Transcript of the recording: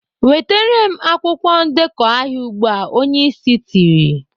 "Wetere m akwụkwọ ndekọ ahịa ugbu a!" Onye Ịsị tiri.